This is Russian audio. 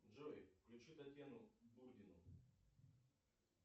джой включи татьяну богину